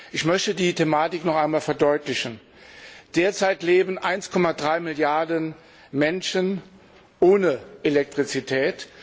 Ich möchte die Thematik noch einmal verdeutlichen Derzeit leben 1,3 Milliarden Menschen ohne Elektrizität.